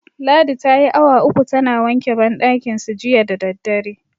Ladi tayi awa uku tana wanke banɗakinsu jiya da daddare.